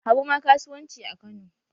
Habu ma kasuwanci a Kano.